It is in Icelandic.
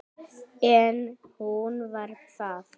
En hún var það.